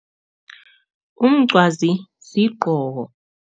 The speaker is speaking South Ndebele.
Umncwazi sigqoko.